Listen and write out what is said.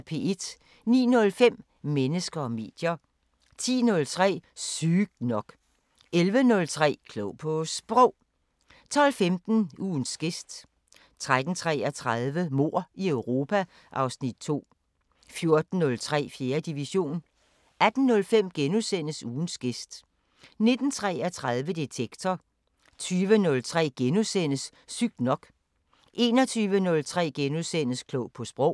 09:05: Mennesker og medier 10:03: Sygt nok 11:03: Klog på Sprog 12:15: Ugens gæst 13:33: Mord i Europa (Afs. 2) 14:03: 4. division 18:05: Ugens gæst * 19:33: Detektor 20:03: Sygt nok * 21:03: Klog på Sprog *